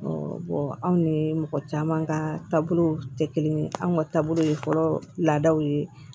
anw ni mɔgɔ caman ka taabolow tɛ kelen ye anw ka taabolo ye fɔlɔ laadaw ye